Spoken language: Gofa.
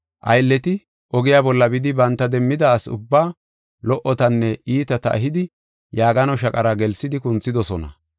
Aylleti ogiya bolla bidi banta demmida asi ubbaa lo77otanne iitata ehidi yaagano shaqara gelsidi kunthidosona.